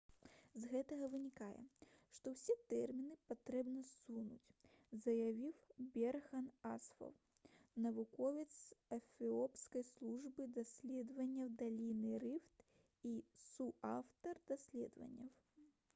«з гэтага вынікае што ўсе тэрміны патрэбна ссунуць» — заявіў берхан асфаў навуковец з эфіопскай службы даследаванняў даліны рыфт і суаўтар даследавання